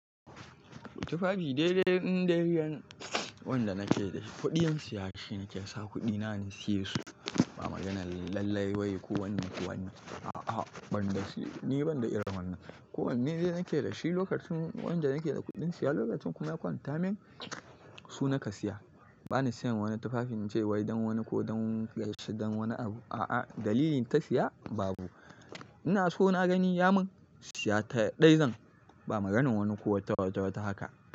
Tufafi dai dai indai dai wanda nake da shi, kuɗin siyashi nake sa kuɗi na na siya su ba maganar lallai wai ku wannan ku wannan a'a banda shi ni banda iran wannan. Ko wanne zai nake da shi lokacin wanda nake da kuɗin siya lokacin kuma ya kwanta min su na ka siya. Ba ni siyan wani tufafi in ce wai don wani ko don gaishe don wani abu a'a dalilin ta siya babu. Ina so na gani ya min siya ta ɗai zan ba maganin wani ko wata wata haka.